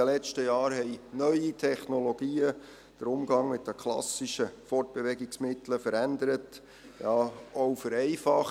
In den letzten Jahren haben neue Technologien den Umgang mit den klassischen Fortbewegungsmitteln verändert – ja, auch vereinfacht.